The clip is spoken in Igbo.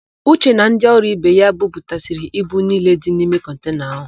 Uche na ndị ọrụ ibe ya buputasịrị ibu niile dị n'ime kọntena áhụ̀.